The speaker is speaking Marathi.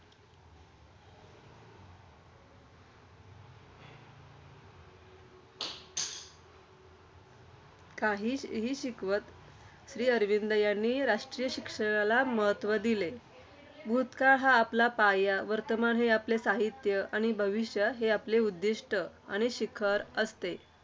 काही हि शिकवत. श्रीअरविंद यांनी राष्ट्रीय शिक्षणाला महत्त्व दिले आहे. भूतकाळ हा आपला पाया, वर्तमान हे आपले साहित्य आणि भविष्य हे आपले उद्दिष्ट आणि शिखर असते.